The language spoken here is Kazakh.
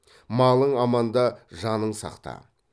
малың аманда жаның сақта